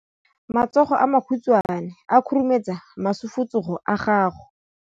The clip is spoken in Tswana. Matsogo a makhutshwane a khurumetsa masufutsogo a gago.